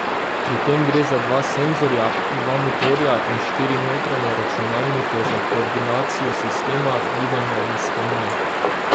Pri tem gre za dva senzorja, dva motorja in štiri notranje računalnike za koordinacijo sistema, gibanja in spomina.